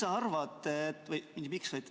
Hea Heljo!